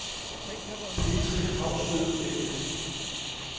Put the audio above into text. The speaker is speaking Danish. Petri & Haugsted A/S